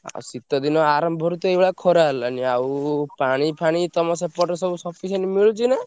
ଆଉ ଶୀତ ଦିନ ଆରମ୍ଭରୁ ତ ଏଇଭଳିଆ ଖରା ହେଲାଣି ଆଉ ପାଣି ଫାଣି ତମ ସେପଟେ ସବୁ sufficient ମିଳୁଛି ନା?